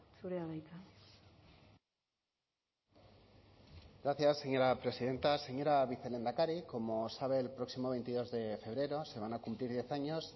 zurea da hitza gracias señora presidenta señora vicelehendakari como sabe el próximo veintidós de febrero se van a cumplir diez años